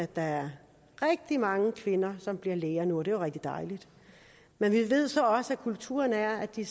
der er rigtig mange kvinder der bliver læger nu og det er jo rigtig dejligt men vi ved så også at kulturen er at de